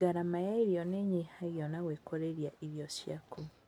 Gharama ya irio nĩnyihagio na gwĩkũrĩria irio ciaku